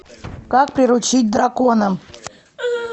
как приручить дракона